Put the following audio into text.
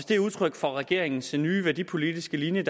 det er udtryk for regeringens nye værdipolitiske linje